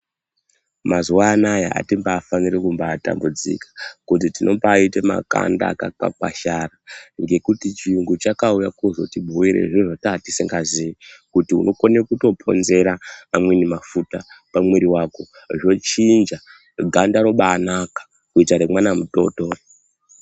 Mazuwa anaa atimbaafaniri kumbaatambudzika kuti tinombaaita makanda akakwakwashara ngekuti chirungu chakauya kuzotibhuira zviro zvataa tisingazii kuti unokone kutoponzera amweni mafuta pamwiri wako zvochinja ganda robaanaka kuita remwana mudoodori.